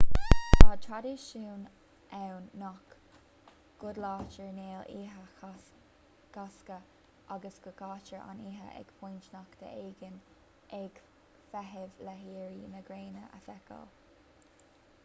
tá traidisiún ann nach gcodlaítear néal oíche chásca agus go gcaitear an oíche ag pointe nochta éigin ag feitheamh le héirí na gréine a fheiceáil